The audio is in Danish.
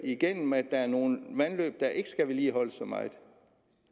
igennem at der er nogle vandløb der ikke skal vedligeholdes så meget